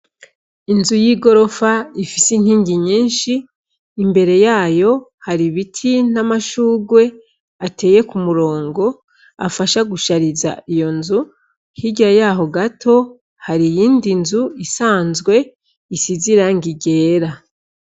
Inzu y'igorofa ifise inkingi nyinshi. Imbere yayo, har' ibiti n'amashurwe ateye ku murongo afasha gushariza iyo nzu. Hirya yaho gato, hari iyindi nzu isanzwe isize irangi ryera.